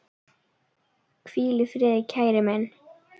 Hvíl í friði, kæri minn.